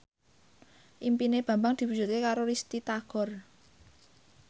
impine Bambang diwujudke karo Risty Tagor